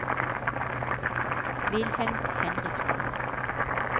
Wilhelm Henriksen